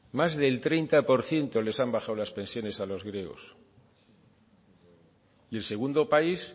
más del treinta por ciento les han bajado las pensiones a los griegos y el segundo país